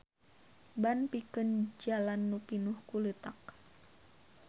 Ban pikeun jalan nu pinuh ku leutak.